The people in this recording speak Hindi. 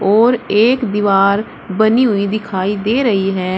और एक दीवार बनी हुई दिखाई दे रही है।